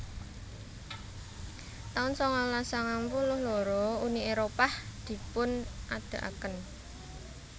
taun sangalas sangang puluh loro Uni Éropah dipun adegaken